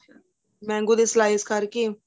mango ਦੇ slice ਕਰਕੇ